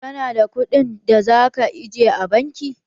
Ka na da kuɗin da za ka aje a bankin?